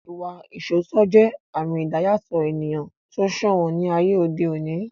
Ìwà ìṣoótọ́ jẹ́ àmì ìdáyàtọ̀ ènìyàn tó sòwọ́n ní ayé òde òní